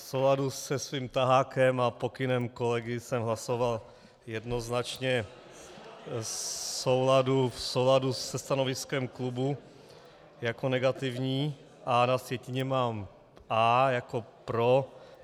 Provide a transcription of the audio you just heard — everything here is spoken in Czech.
V souladu se svým tahákem a pokynem kolegy jsem hlasoval jednoznačně v souladu se stanoviskem klubu jako negativní, a na sjetině mám A jako pro.